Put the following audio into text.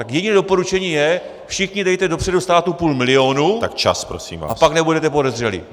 Tak jediné doporučení je: všichni dejte dopředu státu půl milionu , a pak nebudete podezřelí.